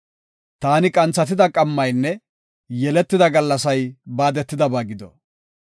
“Taani qanthatida qammaynne yeletida gallasay baadetidaba gido!